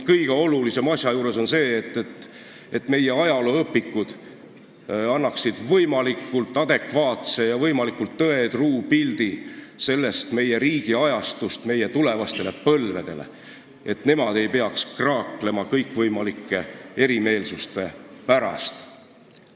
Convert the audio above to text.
Kõige olulisem on aga see, et meie ajalooõpikud annaksid võimalikult adekvaatse, võimalikult tõetruu pildi sellest ajast, et tulevased põlved ei peaks kraaklema kõikvõimalike eriarvamuste pärast.